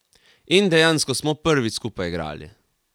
In dejansko smo prvič skupaj igrali.